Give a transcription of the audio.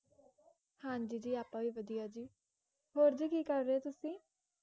ਹਾਂਜੀ ਜੀ ਆਪਾਂ ਵੀ ਵਦੀਆਂ ਜੀ ਹੋਰ ਜੀ ਕੀ ਕਾਰ ਰਹੇ ਹੋ ਤੁਸੀਂ